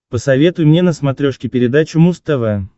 посоветуй мне на смотрешке передачу муз тв